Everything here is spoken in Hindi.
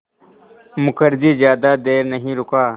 मुखर्जी ज़्यादा देर नहीं रुका